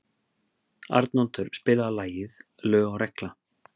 Arnoddur, spilaðu lagið „Lög og regla“.